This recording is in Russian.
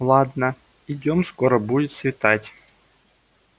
ладно идём скоро будет светать